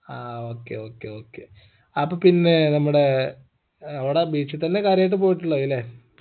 ആ okay okay okay അപ്പൊ പിന്നെ നമ്മുടെ ഏർ അവിട beach തന്നെ കാര്യായിട്ട് പോയിട്ടുള്ളത് ല്ലേ